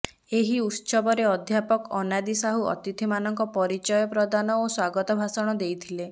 ଏହି ଉତ୍ସବରେ ଅଧ୍ୟାପକ ଅନାଦି ସାହୁ ଅତିଥିମାନଙ୍କ ପରିଚୟ ପ୍ରଦାନ ଓ ସ୍ୱାଗତ ଭାଷଣ ଦେଇଥିଲେ